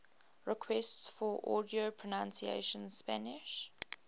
requests for audio pronunciation spanish